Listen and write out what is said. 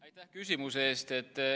Aitäh küsimuse eest!